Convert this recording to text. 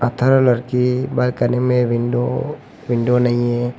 लड़की बालकनी में window window नहीं है।